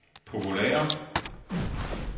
populære